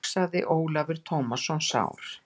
hugsaði Ólafur Tómasson sár.